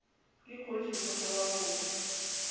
ke kgoši monna wa botho